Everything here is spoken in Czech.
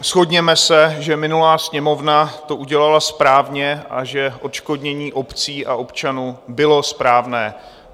Shodněme se, že minulá Sněmovna to udělala správně a že odškodnění obcí a občanů bylo správné.